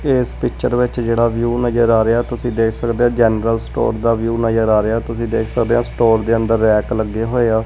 ਇਸ ਪਿਚਰ ਵਿੱਚ ਜਿਹੜਾ ਵਿਊ ਨਜ਼ਰ ਆ ਰਿਹਾ ਤੁਸੀਂ ਦੇਖ ਸਕਦੇ ਹੋ ਜਨਰਲ ਸਟੋਰ ਦਾ ਵਿਊ ਨਜ਼ਰ ਆ ਰਿਹਾ ਤੁਸੀਂ ਦੇਖ ਸਕਦੇ ਹੈ ਸਟੋਰ ਦੇ ਅੰਦਰ ਰੈਕ ਲੱਗੇ ਹੋਏ ਆ।